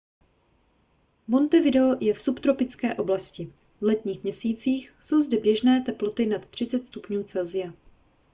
montevideo je v subtropické oblasti; v letních měsících jsou zde běžné teploty nad 30 °c